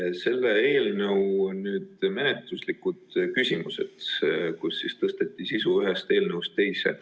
Asi on selle eelnõu menetluslikes küsimustes, et tõsteti sisu ühest eelnõust teise.